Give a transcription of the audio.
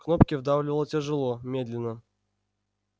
кнопки вдавливал тяжело медленно